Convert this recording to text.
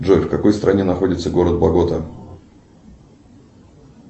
джой в какой стране находится город багота